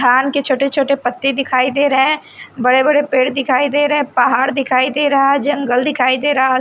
धान के छोटे छोटे पत्ते दिखाई दे रहे बड़े बड़े पेड़ दिखाई दे रे हैं पहाड़ दिखाई दे रहा है जंगल दिखाई दे रहा--